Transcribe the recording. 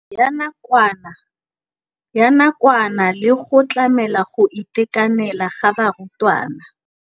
Ya nakwana le go tlamela go itekanela ga barutwana.